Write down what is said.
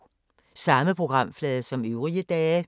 Samme programflade som øvrige dage